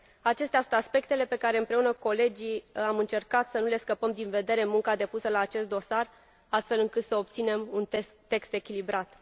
Acestea sunt aspectele pe care, împreună cu colegii, am încercat să nu le scăpăm din vedere în munca depusă la acest dosar, astfel încât să obținem un text echilibrat.